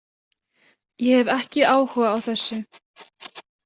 Ég hef ekki áhuga á þessu.